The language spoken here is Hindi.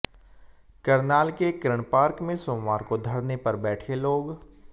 करनाल के कर्ण पार्क में सोमवार को धरने पर बैठे लोग